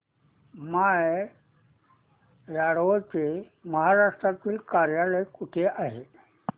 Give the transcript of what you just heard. माय advo चे महाराष्ट्रातील कार्यालय कुठे आहे